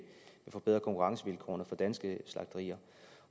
forbedre konkurrencevilkårene for danske slagterier